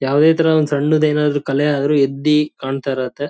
ಆ ಆದಿಕ್ಕೆ ಬಿಲ್ಡಿಂಗಿಗ್ ವೈಟ್ ಹಾಕದ್ರು ಚೆನ್ನಾಗ್ ಕಾಣುತ್ತೆ ಮಿಲ್ಕಿ ವೈಟು ಐವರಿ ವೈಟೆಲ್ಲ .